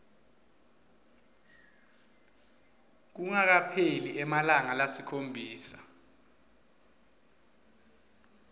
kungakapheli emalanga lasikhombisa